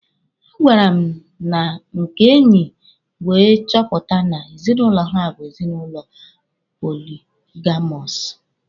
A gara m na nke enyi wee chọpụta na ezinụlọ ha bụ ezinụlọ poligamọsụ.